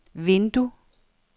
vindue